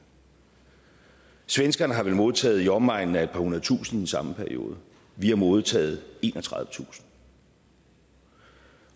svenskerne har vel modtaget i omegnen af et par hundred tusinde i samme periode vi har modtaget enogtredivetusind